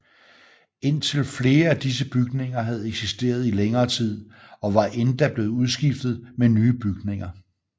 Indtil flere af disse bygninger havde eksisteret i længere tid og var endda blevet udskiftet med nye bygninger